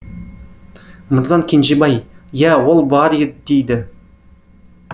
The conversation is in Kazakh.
мырзан кенжебаи иә ол бар дейді